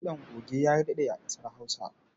Kiɗan goge ya daɗe a ƙasar Hausa.